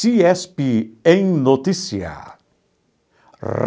CIESP em notícia.